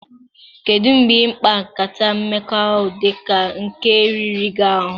Kedu mgbe ịkpa nkata mmekọahụ dị ka nke a riri gị ahụ?